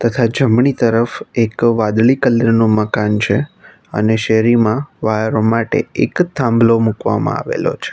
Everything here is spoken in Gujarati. તથા જમણી તરફ એક વાદળી કલર નું મકાન છે અને શેરીમાં વાયરો માટે એક થાંભલો મુકવામાં આવેલો છે.